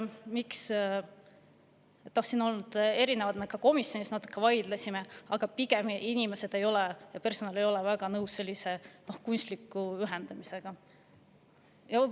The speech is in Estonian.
No siin on olnud erinevad, me ka komisjonis natuke vaidlesime, aga inimesed ja personal pigem ei ole väga nõus sellise kunstliku ühendamisega.